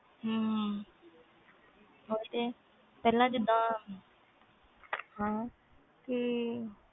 ਹੂੰ ਉਹ ਤੇ ਹੈ ਪਹਿਲੇ ਜੀਂਦਾ